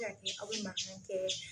A bɛ se ka kɛ a be makan kɛ